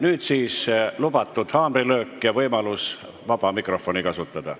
Nüüd siis lubatud haamrilöök ja võimalus vaba mikrofoni kasutada.